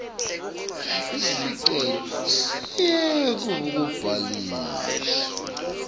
sicelo sekuvuselela kubhaliswa